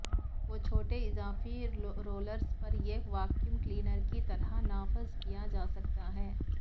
وہ چھوٹے اضافی رولرس پر ایک ویکیوم کلینر کی طرح نافذ کیا جا سکتا ہے